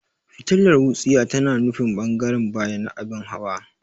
Fitilar wutsiya tana nufin ɓangaren baya na abin hawa.